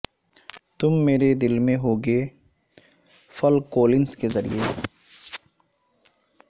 تم میرے دل میں ہوں گے فل کولنس کے ذریعہ